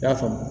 I y'a faamu